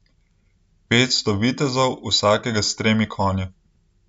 Petsto vitezov, vsakega s tremi konji.